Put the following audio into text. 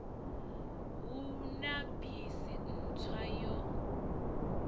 hu na bisi ntswa yo